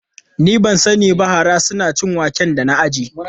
Ni ban sani ba, hara suna cin wake da na ajiye.